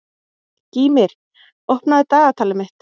Gýmir, opnaðu dagatalið mitt.